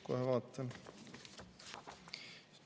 Kohe vaatan.